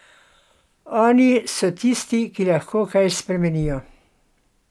Oni so tisti, ki lahko kaj spremenijo.